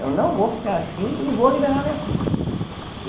Eu não vou ficar assim e vou liberar minha filha.